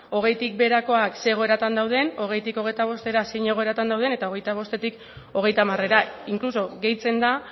hogeitik beherakoak zein egoeratan dauden hogeitik hogeita bostera zein egoeratan dauden eta hogeita bostetik hogeita hamarera incluso gehitzen da